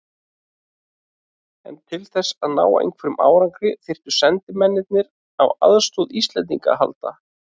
En til þess að ná einhverjum árangri þyrftu sendimennirnir á aðstoð Íslendings að halda.